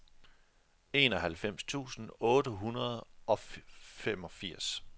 enoghalvfems tusind otte hundrede og femogfirs